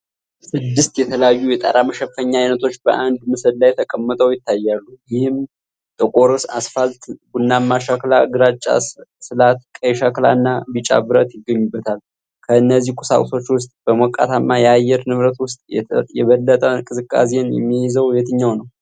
ስድስት የተለያዩ የጣራ መሸፈኛ ዓይነቶች በአንድ ምስል ላይ ተጣምረው ይታያሉ፤ ይህም ጥቁር አስፋልት፣ ቡናማ ሸክላ፣ ግራጫ ስላት፣ ቀይ ሸክላ እና ቢጫ ብረት ይገኙበታል። ከእነዚህ ቁሳቁሶች ውስጥ በሞቃታማ የአየር ንብረት ውስጥ የበለጠ ቅዝቃዜን የሚይዘው የትኛው ነው?